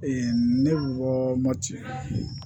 ne bɔma cɛ